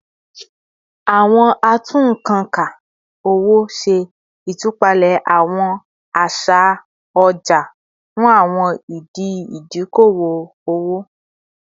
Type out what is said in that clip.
Awọn atunnkanka owo ṣe itupalẹ awọn aṣa ọja fun awọn idi idoko-owo